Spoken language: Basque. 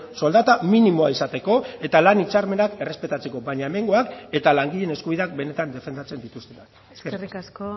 soldata minimoa izateko eta lan hitzarmenak errespetatzeko baina hemengoak eta langileen eskubideak benetan defendatzen dituztenak eskerrik asko